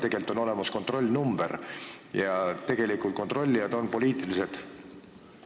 Tegelikult on olemas kontrollnumber ja kontrollijad on poliitilised.